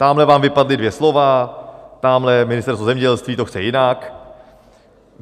Tamhle vám vypadla dvě slova, tamhle Ministerstvo zemědělství to chce jinak.